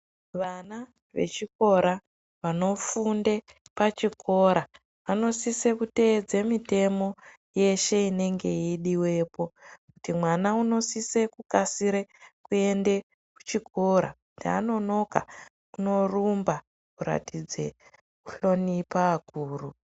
Vana vechikora vanofunde pachikora vanosise kuteedza mitemo yeshe inenge yeidiwepo kuti mwana unosise kukasire kuenda kuchikora kuti anonoka unorumba kuratidza kuhlonipha akuru.